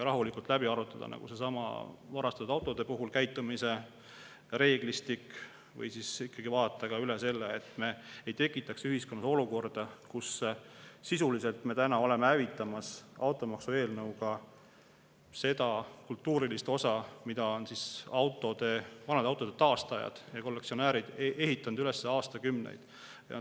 Rahulikult läbi arutada näiteks seesama varastatud autode puhul käitumise reeglistik või vaadata üle see, et me ei tekitaks ühiskonnas olukorda, kus sisuliselt me oleme hävitamas automaksu eelnõuga seda kultuurilist osa, mida on vanade autode taastajad ja kollektsionäärid ehitanud üles aastakümneid.